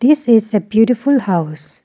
this is a beautiful house.